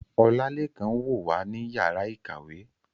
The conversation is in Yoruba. Olalekan n wo wa ni yara ikawe